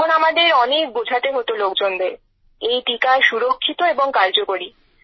তখন আমাদের অনেক বোঝাতে হত লোকজনদের এই টীকা সুরক্ষিত এবং কার্যকরী